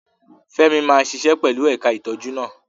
Femi máa ṣiṣẹ́ pẹ̀lú ẹ̀ka ìtọ́jú náà.